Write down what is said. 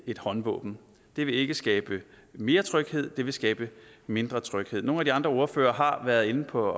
et håndvåben det vil ikke skabe mere tryghed det vil skabe mindre tryghed nogle af de andre ordførere har været inde på